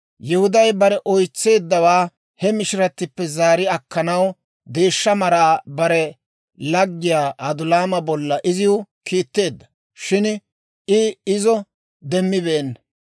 Yihuday bare oytseeddawaa he mishiratippe zaari akkanaw deeshsha maraa bare laggiyaa Adulaama bolla iziw kiitteedda; shin I izo demmibeenna.